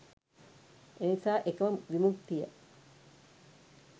එනිසා එකම විමුක්තිය